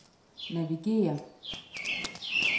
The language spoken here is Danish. navigér